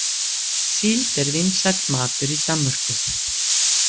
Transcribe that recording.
Síld er vinsæll matur í Danmörku.